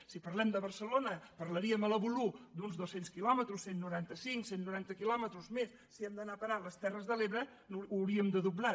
si parlem de barcelona parlaríem al voló d’uns dos cents quilòmetres cent i noranta cinc cent i noranta quilòmetres més si hem d’anar a parar a les terres de l’ebre ho hauríem de doblar